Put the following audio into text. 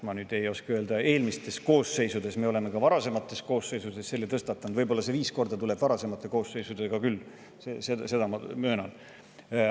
Ma ei oska öelda, me oleme ka varasemates koosseisudes selle tõstatanud, võib-olla tuleb see viis korda siis varasemate koosseisudega kokku küll, seda ma möönan.